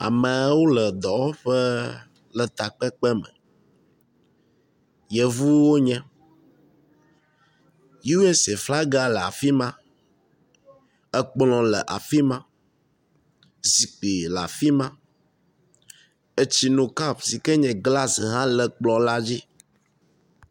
Ameawo le dɔwɔƒe le takpekpe me, yevuwo wonye. USA flaga le afi ma, ekplɔ̃ le afi ma, zikpi la fi ma, etsinokap si ke nye “glass” hã le kplɔ̃ la dzi.